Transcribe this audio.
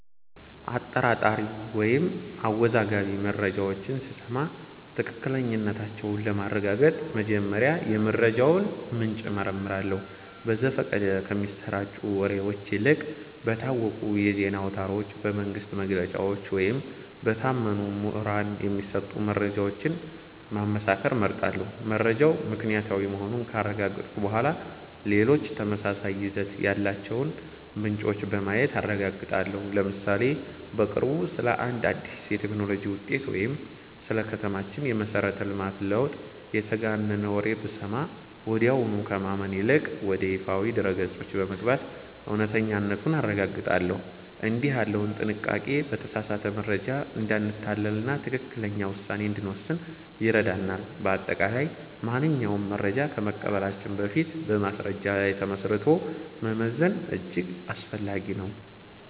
አጠራጣሪ ወይም አወዛጋቢ መረጃዎችን ስሰማ ትክክለኛነታቸውን ለማረጋገጥ መጀመሪያ የመረጃውን ምንጭ እመረምራለሁ። በዘፈቀደ ከሚሰራጩ ወሬዎች ይልቅ በታወቁ የዜና አውታሮች፣ በመንግሥት መግለጫዎች ወይም በታመኑ ምሁራን የሚሰጡ መረጃዎችን ማመሳከር እመርጣለሁ። መረጃው ምክንያታዊ መሆኑን ካረጋገጥኩ በኋላ፣ ሌሎች ተመሳሳይ ይዘት ያላቸውን ምንጮች በማየት አረጋግጣለሁ። ለምሳሌ፦ በቅርቡ ስለ አንድ አዲስ የቴክኖሎጂ ውጤት ወይም ስለ ከተማችን የመሠረተ ልማት ለውጥ የተጋነነ ወሬ ብሰማ፣ ወዲያውኑ ከማመን ይልቅ ወደ ይፋዊ ድረ-ገጾች በመግባት እውነተኛነቱን አረጋግጣለሁ። እንዲህ ያለው ጥንቃቄ በተሳሳተ መረጃ እንዳንታለልና ትክክለኛ ውሳኔ እንድንወስን ይረዳናል። በአጠቃላይ፣ ማንኛውንም መረጃ ከመቀበላችን በፊት በማስረጃ ላይ ተመስርቶ መመዘን እጅግ አስፈላጊ ነው።